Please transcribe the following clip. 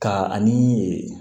Ka ani